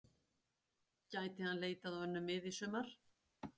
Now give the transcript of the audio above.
Gæti hann leitað á önnur mið í sumar?